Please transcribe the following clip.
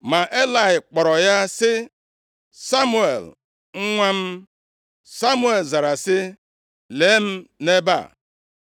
Ma Elayị kpọrọ ya sị, “Samuel, nwa m.” Samuel zara sị, “Lee m nʼebe a.”